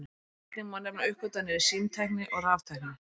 Einnig má nefna uppgötvanir í símtækni og raftækni.